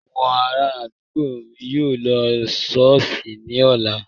Àwọn ará àdúgbò mi yóò lọ ṣọ́ọ̀ṣì ní ọ̀la